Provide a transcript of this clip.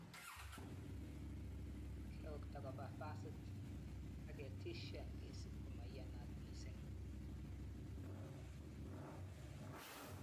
Keokta koba basit ak ketishan kesuub ko maiyanat mising.